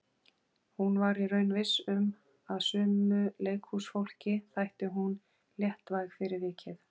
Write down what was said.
Hún var í raun viss um að sumu leikhúsfólki þætti hún léttvæg fyrir vikið.